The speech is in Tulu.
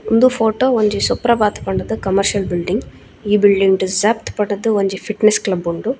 ಉಂದು ಫೊಟೊ ಒಂಜಿ ಸುಪ್ರಭಾತ್ ಪಂಡ್ ದ್ ಕಮರ್ಷಿಯಲ್ ಬಿಲ್ಡಿಂಗ್ ಈ ಬಿಲ್ಡಿಂಗ್ ಡ್ ಝಬ್ಟ್ ಪಂಡ್ ದ್ ಒಂಜಿ ಫಿಟ್ನೆಸ್ಸ್ ಕ್ಲಬ್ ಉಂಡು.